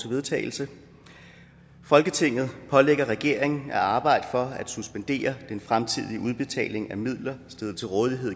vedtagelse folketinget pålægger regeringen at arbejde for at suspendere den fremtidige udbetaling af midler stillet til rådighed